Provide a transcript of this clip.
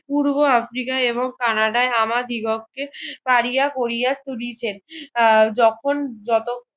পূর্ব আফ্রিকায় এবং কানাডায় আমার দ্বিকক্ষে পারিয়া কোরিয়া সাজিছেন আহ যখন যত